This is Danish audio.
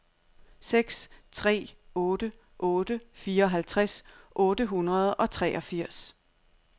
seks tre otte otte fireoghalvtreds otte hundrede og treogfirs